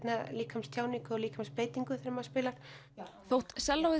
líkamstjáningu og líkamsbeitingu þegar maður spilar þótt